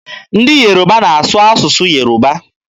Ndị Yoruba na-asụ asụsụ Yoruba.